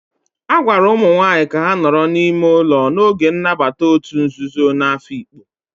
A gwara ụmụ nwanyị ka ha nọrọ n'ime ụlọ n'oge nnabata òtù nzuzo na Afikpo.